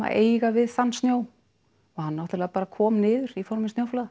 eiga við þann snjó og hann náttúrulega bara kom niður í formi snjóflóða